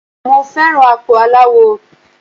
Mo fẹ́ràn àpò aláwọ.